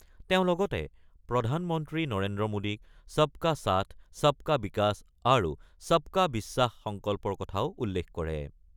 তেওঁ লগতে প্ৰধানমন্ত্ৰী নৰেন্দ্ৰ মোডীক 'ছব কা সাথ ছব কা বিকাশ' আৰু 'ছব কা বিশ্বাস' সংকল্পৰ কথাও উল্লেখ কৰে।